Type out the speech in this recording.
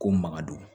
Ko makadon